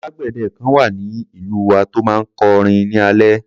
Alágbèdẹ kan wà ní ìlú wa tó máa ń kọ orin ní alẹ́.